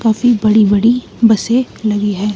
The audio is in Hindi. काफी बड़ी-बड़ी बसें लगी है।